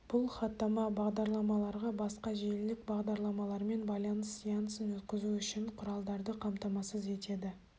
бұл хаттама бағдарламаларға басқа желілік бағдарламалармен байланыс сеансын өткізу үшін құралдарды қамтамасыз етеді